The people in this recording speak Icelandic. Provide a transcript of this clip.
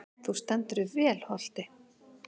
Þú stendur þig vel, Holti!